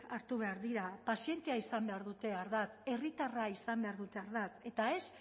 hartu behar dira pazientea izan behar dute ardatz herritarra izan behar dute ardatz eta ez